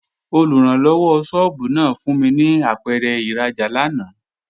Olùrànlọ́wọ́ sọ́ọ́bù náà fún mi ní apẹ̀rẹ̀ ìrajà lánàá